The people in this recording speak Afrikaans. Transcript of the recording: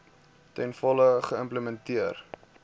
ten volle geïmplementeer